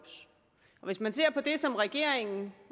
hvis man ser på det som regeringen